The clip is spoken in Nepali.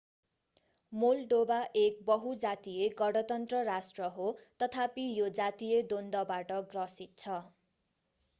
मोल्दोभा एक बहु-जातीय गणतन्त्र राष्ट्र हो तथापि यो जातीय द्वन्द्वबाट ग्रसित छ